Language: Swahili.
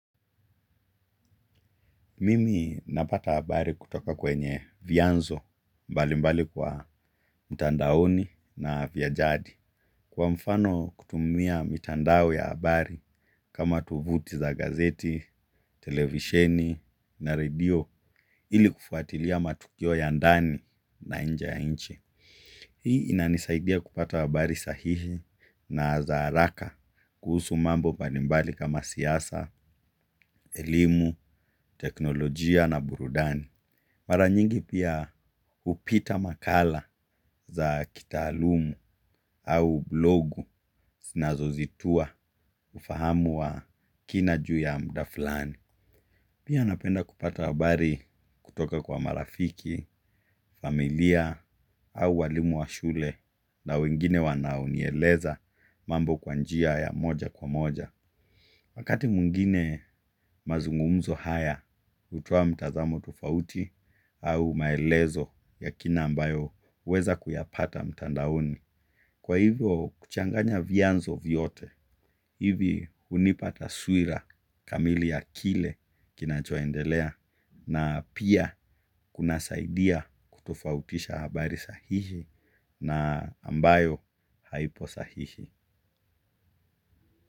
Mimi napata habari kutoka kwenye vyanzo mbalimbali kwa mtandaoni na vya jadi. Kwa mfano kutumia mitandao ya habari kama tovuti za gazeti, televisheni na redio ili kufuatilia matukio ya ndani na nje ya nchi. Hii inanisaidia kupata habari sahihi na za haraka kuhusu mambo mbalimbali kama siasa, elimu, teknolojia na burudani. Mara nyingi pia hupita makala za kitaalum au blogu sinazo zitua ufahamu wa kina juu ya muda fulani. Pia napenda kupata habari kutoka kwa marafiki, familia au walimu wa shule na wengine wanaonieleza mambo kwa njia ya moja kwa moja. Wakati mwingine mazungumzo haya hutoa mtazamo tofauti au maelezo ya kina ambayo huweza kuyapata mtandaoni. Kwa hivyo kuchanganya vyanzo vyote, hivi hunipata taswira kamili ya kile kinachoendelea na pia kunasaidia kutofautisha habari sahihi na ambayo haipo sahihi.